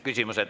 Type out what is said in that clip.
Küsimused.